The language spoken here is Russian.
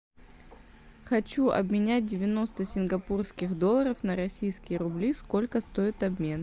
хочу обменять девяносто сингапурских долларов на российские рубли сколько стоит обмен